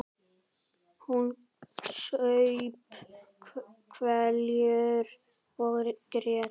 Hún saup hveljur og grét.